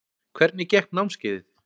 Hvernig gekk námskeiðið?